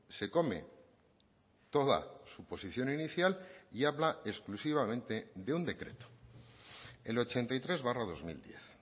se come toda su posición inicial y habla exclusivamente de un decreto el ochenta y tres barra dos mil diez